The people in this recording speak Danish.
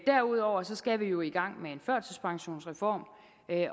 derudover skal vi jo i gang med en førtidspensionsreform